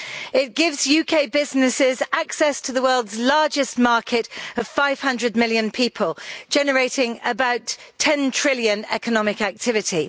It gives UK businesses access to the world's largest market, of 500 million people, generating about GBP 10 trillion in economic activity.